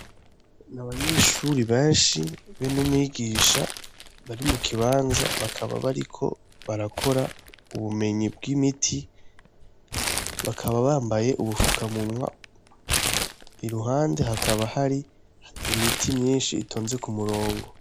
Ni abanyeshure benshi be n' umwigisha bari mu kibanza bakaba bariko barakora ubumenyi bw'imiti bakaba bambaye ubufukamunwa iruhande hakaba hari imiti myinshi itonze ku murongo.